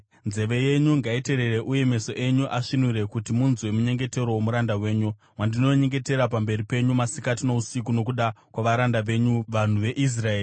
nzeve yenyu ngaiteerere uye meso enyu asvinure kuti munzwe munyengetero womuranda wenyu wandinonyengetera pamberi penyu masikati nousiku nokuda kwavaranda venyu, vanhu veIsraeri.